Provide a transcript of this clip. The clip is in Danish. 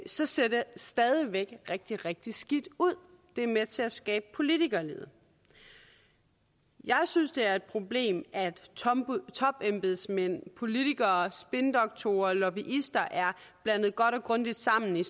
så ser det stadig væk rigtig rigtig skidt ud det er med til at skabe politikerlede jeg synes det er et problem at topembedsmænd politikere spindoktorer og lobbyister er blandet godt og grundigt sammen i